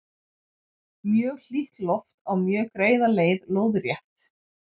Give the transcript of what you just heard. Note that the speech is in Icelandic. mjög hlýtt loft á mjög greiða leið lóðrétt